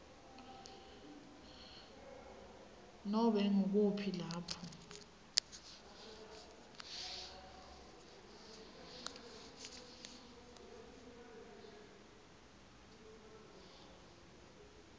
nobe ngukuphi lapho